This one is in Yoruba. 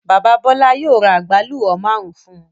Bàbá Bọ́lá yóò ra àgbálù ọ́ márùn-ún fún un.